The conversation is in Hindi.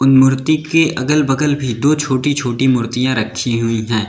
मूर्ति के अगल बगल भी दो छोटी छोटी मूर्तियां रखी हुई हैं।